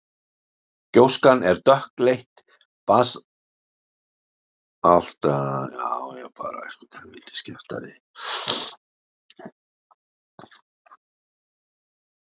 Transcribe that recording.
Gjóskan er dökkleit basaltgjóska og féll á um helming landsins.